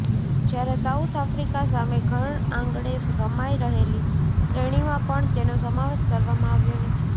જ્યારે South Africa સામે ઘરઆંગણે રમાઈ રહેલી શ્રેણીમાં પણ તેનો સમાવેશ કરવામાં આવ્યો નથી